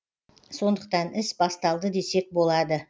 сондықтан іс басталды десек болады